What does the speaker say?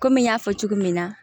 Komi n y'a fɔ cogo min na